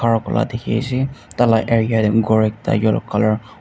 khara kurila dikhiase tala area tae ghor ekta yellow colour --